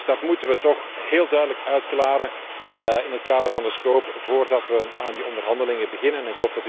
Dat moeten we toch heel duidelijk uitklaren in het kader van de scope voordat we aan de onderhandelingen beginnen.